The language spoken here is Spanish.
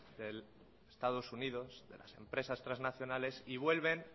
de estados unidos las empresas transnacionales y vuelven